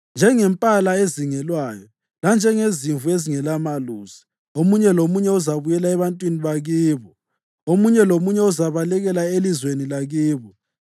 Njengempala ezingelwayo, lanjengezimvu ezingelamelusi, omunye lomunye uzabuyela ebantwini bakibo, omunye lomunye uzabalekela elizweni lakibo.